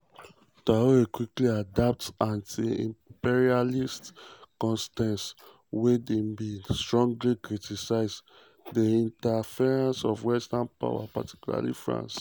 traoré quickly adopt anti-imperialist stance wia im bin strongly criticise di interference of western powers particularly france.